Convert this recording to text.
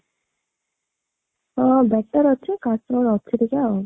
ହଁ better ଅଛି, କାଶ ଅଛି ଟିକେ ଆଉ